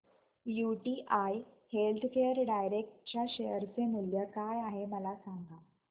UTI healthcare direct च्या share चे मूल्य काय आहे मला सांगा